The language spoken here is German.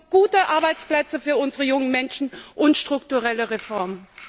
Wir brauchen gute Arbeitsplätze für unsere jungen Menschen und strukturelle Reformen!